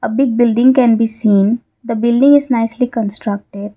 a big building can be seen the building is nicely constructed.